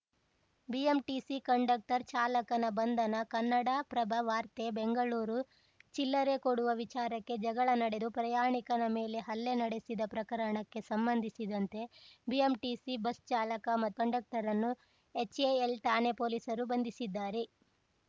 BMTC conductor ಚಾಲಕನ ಬಂಧನ ಕನ್ನಡಪ್ರಭ ವಾರ್ತೆ ಬೆಂಗಳೂರು ಚಿಲ್ಲರೆ ಕೊಡುವ ವಿಚಾರಕ್ಕೆ ಜಗಳ ನಡೆದು ಪ್ರಯಾಣಿಕನ ಮೇಲೆ ಹಲ್ಲೆ ನಡೆಸಿದ ಪ್ರಕರಣಕ್ಕೆ ಸಂಬಂಧಿಸಿದಂತೆ ಬಿಎಂಟಿಸಿ ಬಸ್‌ ಚಾಲಕ ಮತ್ತು ಕಂಡಕ್ಟರ್‌ನನ್ನು ಎಚ್‌ಎಎಲ್‌ ಠಾಣೆ ಪೊಲೀಸರು ಬಂಧಿಸಿದ್ದಾರೆ